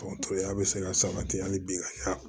an bɛ se ka san saba kɛ hali biya